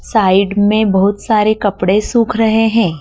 Side में बहुत सारे कपड़े सूख रहे हैं।